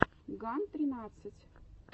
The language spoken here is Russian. ган тринадцать